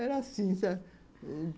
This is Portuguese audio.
Era assim, sabe?